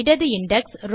இடது இண்டெக்ஸ்